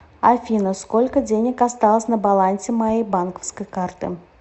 афина сколько денег осталось на балансе моей банковской карты